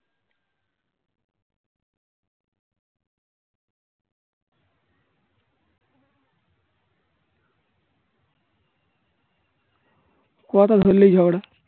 কথা ধরলেই ঝগড়া